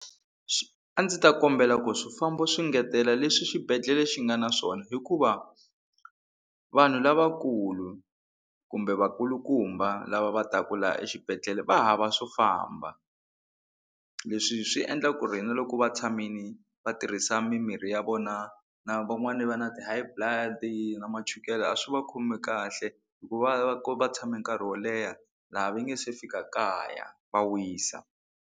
A ndzi ta kombela ku swifambo swi ngetela leswi xibedhlele xi nga na swona hikuva vanhu lavakulu kumbe vakulukumba lava va taka laha exibedhlele va hava swo famba leswi swi endla ku ri na loko va tshamile va tirhisa mimirhi ya vona na van'wani va na ti-High blood na machukele a swi va khomi kahle hikuva va tshame nkarhi wo leha laha va nga se fika kaya va wisa.